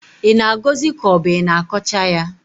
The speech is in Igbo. ị na-agọzi ka ọ bụ i na-akọcha ya?